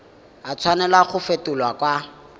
a tshwanela go fetolwa kwa